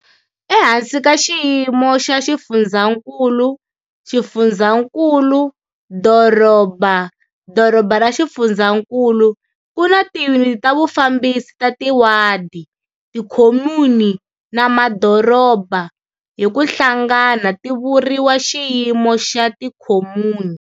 Ehansi ka xiyimo xa xifundzankulu-xifundzankulu-doroba-doroba ra xifundzankulu ku na tiyuniti ta vufambisi ta tiwadi, tikhomuni, na madoroba, hi ku hlangana ti vuriwa xiyimo xa tikhomuni.